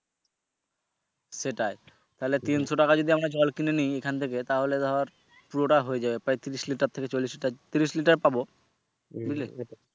সেটাই তাহলে তিনশ টাকার যদি আমরা জল কিনে নেই এখান থেকে তাহলে ধর পুরো টা হয়ে যাবে প্রায় ত্রিশ Litre থেকে চল্লিশ লিটার ত্রিশ litre পাবো বুঝলে।